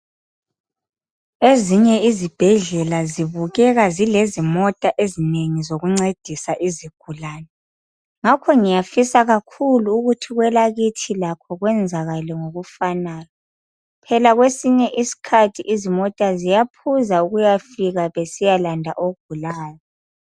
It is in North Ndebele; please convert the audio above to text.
ezinye izibhedlela zibukeka zilezimota ezinengi zokuncedisa izigulane ngakho ngiyafisa kakhulu ukuthi kwelakithi lakho kwenzakale ngokufanayo phela kwesinye isikhathi izimota ziyaphuza ukuyafika besiyalanda ogulayo